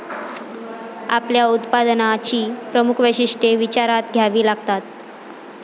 आपल्या उत्पादनाची प्रमुख वैशिष्ट्ये विचारात घ्यावी लागतात.